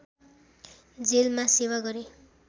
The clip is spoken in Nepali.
जेलमा सेवा गरे